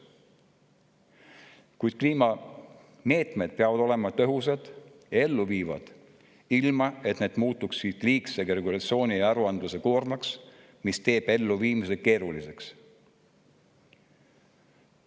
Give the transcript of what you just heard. Kuid kliimameetmed peavad olema tõhusad ja elluviidavad ilma, et need muutuksid liigse regulatsiooni ja aruandluse tõttu koormaks, sest see teeb nende elluviimise keeruliseks.